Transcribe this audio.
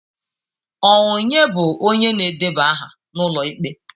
Ọnye bụ onye na-edeba aha n'ụlọ ikpe?